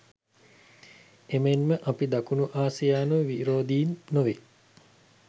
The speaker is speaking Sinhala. එමෙන්ම අපි දකුණු ආසියානු විරෝදින් නොවේ